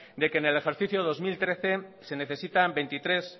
de que en el ejercicio dos mil trece se necesitan veintitrés